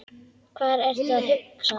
Hvað ertu að hugsa?